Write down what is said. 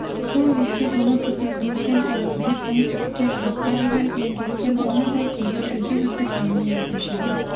сол ретте бұны петербургтен әдейілеп оңтүстікке жыраққа жіберіп емдеткен оны да кейде үзік-үзік әңгіме етуші еді